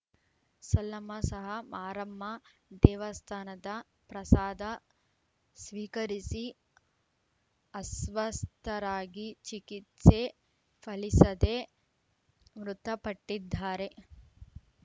ಸಾಲಮ್ಮ ಸಹ ಮಾರಮ್ಮ ದೇವಸ್ಥಾನದ ಪ್ರಸಾದ ಸ್ವೀಕರಿಸಿ ಅಸ್ವಸ್ಥರಾಗಿ ಚಿಕಿತ್ಸೆ ಫಲಿಸದೆ ಮೃತಪಟ್ಟಿದ್ದಾರೆ